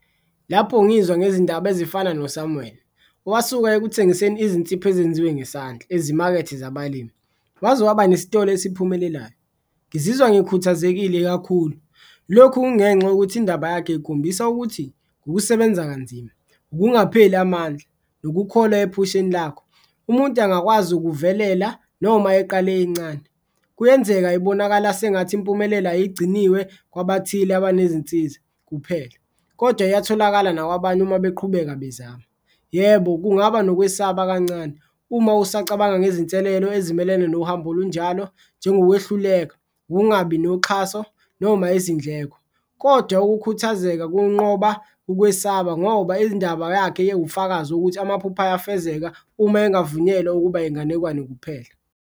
Lapho ngizwa ngezindaba ezifana noSamuel owasuka ekuthengiseni izinzipho ezenziwe ngesandla ezimakethe zabalimi waze waba nesitolo isiphumelelayo, ngizizwa ngikhuthazekile kakhulu. Lokhu kungenxa yokuthi indaba yakhe ikhombisa ukuthi ngokusebenza kanzima, ukungapheleli amandla, nokukholwa ephusheni lakho umuntu angakwazi ukuvelela noma eqale incane. Kuyenzeka ibonakala sengathi impumelelo ayigciniwe kwabathile abanezinsiza kuphela kodwa iyatholakala nakwabanye uma beqhubeka bezama. Yebo, kungaba nokwesaba kancane uma usacabanga ngezinselelo ezimelene nohambo olunjalo njengokwehluleka, ungabi noxhaso noma izindleko. Kodwa ukukhuthazeka kokunqoba ukwesaba ngoba ndaba yakhe yewufakazi ukuthi amaphupho ayafezeka uma engavunyelwa ukuba inganekwane kuphela.